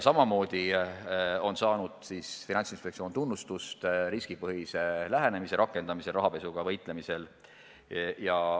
Samamoodi on Finantsinspektsiooni tunnustatud riskipõhise lähenemise rakendamisel rahapesuga võitlemisel.